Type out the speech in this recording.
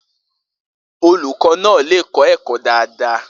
Olukọ na lẹ kọ ẹkọ dada